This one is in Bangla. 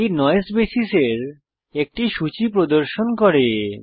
এটি নয়েস বেসিসের একটি সূচী প্রদর্শন করে